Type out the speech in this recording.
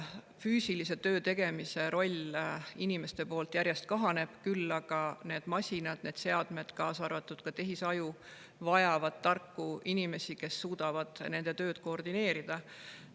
Füüsilise töö tegemine inimeste seas järjest kahaneb, küll aga vajavad need masinad ja seadmed, kaasa arvatud tehisaju, tarku inimesi, kes suudavad nende tööd koordineerida.